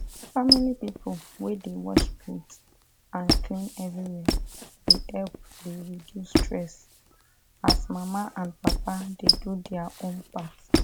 family people wey dey wash plate and clean everywhere dey help dey reduce stress as mama and papa dey do their own part